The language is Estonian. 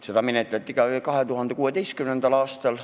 Seda menetleti ka 2016. aastal.